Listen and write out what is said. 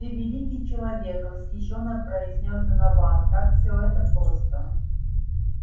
ты великий человек восхищённо произнёс донован как все это просто